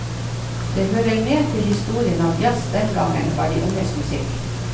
Det hører med til historien at jazz den gangen var de unges musikk.